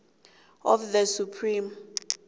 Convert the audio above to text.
of the supreme